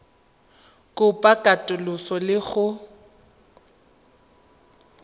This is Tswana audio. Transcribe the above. kopo ya katoloso le go